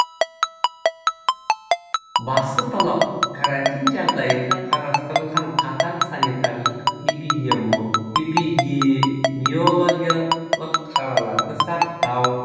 басты талап карантин жағдайында қарастырылған қатаң санитарлық эпидемиологиялық шараларды сақтау